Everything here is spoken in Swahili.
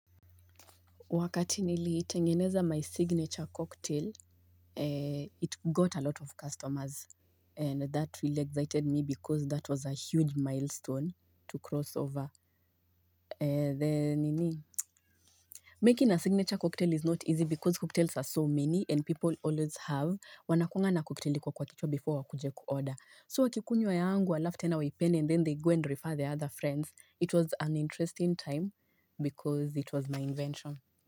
Wakati nili itengeneza my signature cocktail, it got a lot of customers and that really excited me because that was a huge milestone to cross over the nini. Making a signature cocktail is not easy because cocktails are so many and people always have. Wanakuanga na cocktail iko kwa kichwa before wakuje ku order. So wakikunywa yangu alafu tena waipende and then they go and refer their other friends. It was an interesting time because it was my invention.